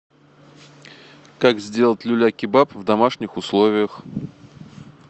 как сделать люля кебаб в домашних условиях